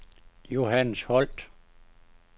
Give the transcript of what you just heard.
Johannes Holt